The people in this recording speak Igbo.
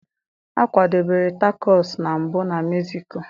A kwadebere Tacos na mbụ na Mezico.